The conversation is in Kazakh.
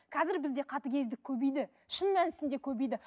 қазір бізде қатыгездік көбейді шын мәнісінде көбейді